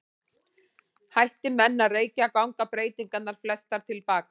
Hætti menn að reykja ganga breytingarnar flestar til baka.